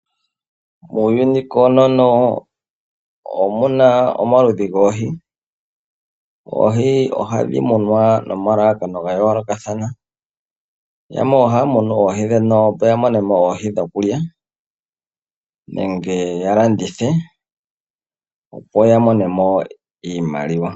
Muuyuni koonono omuna omaludhi goohi. Oohi ohadhi munwa nomalalakano ga yoolokathana, yamwe ohaya munu oohi ndhono opo ya monemo oohi dhokulya, nenge ya landithe opo ya monemo iimaliwa.